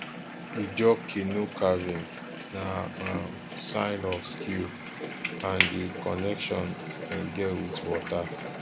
ijaw canoe carving na um sign of skill and di connection dem get wit water